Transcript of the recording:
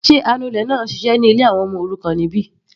Sé anulẹ̀ náà ń ṣiṣẹ́ ní ilé àwọn ọmọ òrukàn níbí?